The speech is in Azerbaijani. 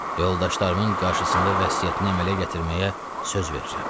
Yoldaşlarımın qarşısında vəsiyyətini əmələ gətirməyə söz verirəm.